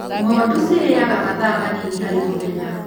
Ng'ondu cirĩaga mathaa manini harĩ mũthenya.